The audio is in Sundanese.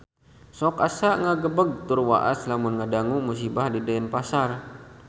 Sok asa ngagebeg tur waas lamun ngadangu musibah di Denpasar